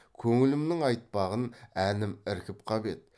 көңілімнің айтпағын әнім іркіп қап еді